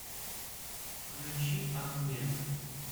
включи ахмедов